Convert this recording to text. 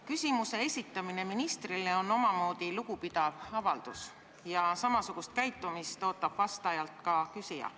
Küsimuse esitamine ministrile on omamoodi lugupidamise avaldus ja samasugust käitumist ootab vastajalt ka küsija.